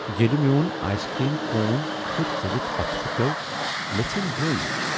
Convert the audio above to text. ییٚلہ میون آیسکریم کون کھٕر ژٔلتھ پتھر پیوٚو مےٚ ژھیٚنۍ وٲنج۔